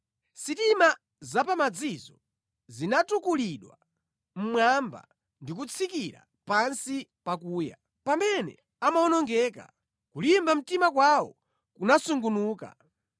Sitima za pamadzizo zinatukulidwa mmwamba ndi kutsikira pansi pakuya; pamene amawonongeka, kulimba mtima kwawo kunasungunuka.